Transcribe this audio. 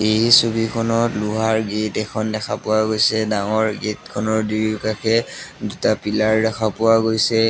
এই ছবিখনত লোহাৰ গেট এখন দেখা পোৱা গৈছে ডাঙৰ গেটখনৰ দুয়োকাষে দুটা পিলাৰ ৰখা পোৱা গৈছে।